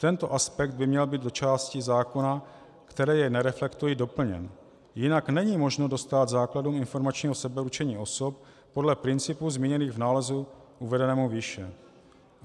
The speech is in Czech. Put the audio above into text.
Tento aspekt by měl být do částí zákona, které jej nereflektují, doplněn, jinak není možno dostát základům informačního sebeurčení osob podle principů zmíněných v nálezu uvedenému výše.